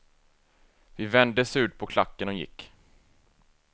Vi vände surt på klacken och gick.